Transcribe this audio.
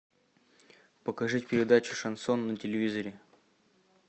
покажи передачу шансон на телевизоре